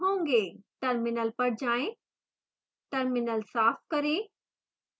terminal पर जाएं terminal साफ करें